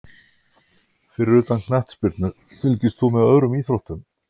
Fyrir utan knattspyrnu, fylgist þú með öðrum íþróttum?